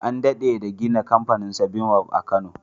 An dade da gina kamfanin seven-up a kano